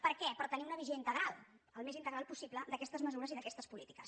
per què per tenir una visió integral el més integral possible d’aquestes mesures i d’aquestes polítiques